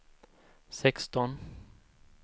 sexton